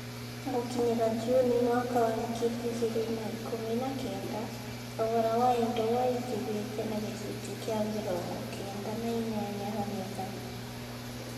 Gũkinyĩria Juni mwaka wa ngiri igĩrĩ na ikũmi na kenda, thogora wa indo waingĩhĩte na gĩcunjĩ kĩa mĩrongo kenda na inyanya harĩ igana.